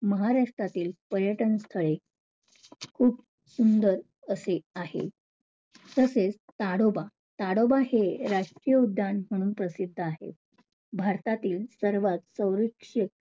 महाराष्ट्रातील पर्यटन स्थळे खूप सुंदर असे आहे. तसेच ताडोबा, ताडोबा हे राष्ट्रीय उद्यान म्हणून प्रसिद्ध आहे. भारतातील सर्वात सौरक्षित,